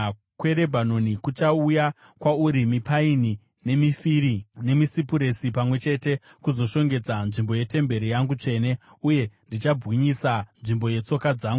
“Kubwinya kweRebhanoni kuchauya kwauri, mipaini nemifiri nemisipuresi pamwe chete, kuzoshongedza nzvimbo yetemberi yangu tsvene; uye ndichabwinyisa nzvimbo yetsoka dzangu.